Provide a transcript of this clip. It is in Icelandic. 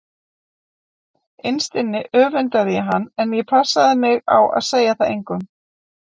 Innst inni öfundaði ég hann en ég passaði mig á að segja það engum.